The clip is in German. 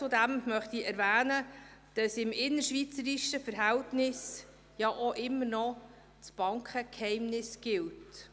Zudem möchte ich erwähnen, dass im innerschweizerischen Verhältnis immer noch das Bankgeheimnis gilt.